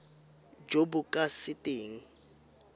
jo bo ka se keng